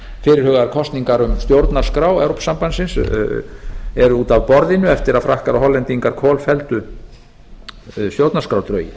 fyrirhugaðar kosningar um stjórnarskrá evrópusambandsins eru úti af borðinu eftir að frakkar og hollendingar kolfelldu stjórnarskrárdrögin